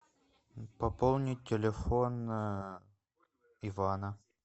пополнить телефон ивана